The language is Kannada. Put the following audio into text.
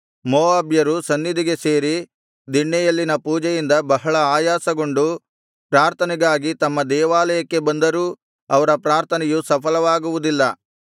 ಮೋವಾಬ್ಯರು ಸನ್ನಿಧಿಗೆ ಸೇರಿ ದಿಣ್ಣೆಯಲ್ಲಿನ ಪೂಜೆಯಿಂದ ಬಹಳ ಆಯಾಸಗೊಂಡು ಪ್ರಾರ್ಥನೆಗಾಗಿ ತಮ್ಮ ದೇವಾಲಯಕ್ಕೆ ಬಂದರೂ ಅವರ ಪ್ರಾರ್ಥನೆಯು ಸಫಲವಾಗುವುದಿಲ್ಲ